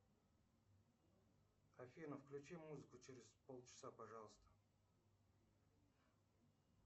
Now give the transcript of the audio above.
афина включи музыку через пол часа пожалуйста